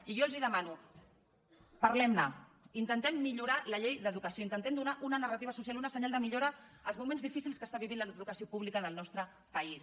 i jo els demano parlemne intentem millora la llei d’educació intentem donar una narrativa social un senyal de millora als moments difícils que està vivint l’educació pública del nostre país